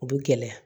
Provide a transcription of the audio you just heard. U bi gɛlɛya